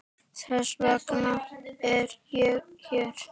Þess vegna er ég hér.